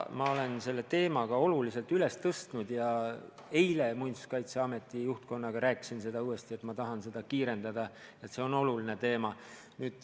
Ma olen selle teema ka olulisena üles tõstnud ja eile Muinsuskaitseameti juhtkonnaga rääkisin uuesti, et ma tahan seda kiirendada, et see on oluline teema.